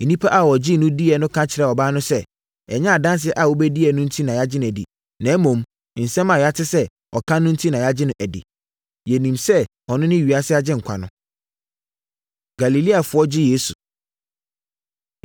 Nnipa a wɔgyee no dii no ka kyerɛɛ ɔbaa no sɛ, “Ɛnyɛ adanseɛ a wobɛdiiɛ no enti na yɛgye no di, na mmom nsɛm a yɛate sɛ ɔka no enti na yɛagye no adi. Na yɛnim sɛ ɔno ne ewiase Agyenkwa no.” Galileafoɔ Gye Yesu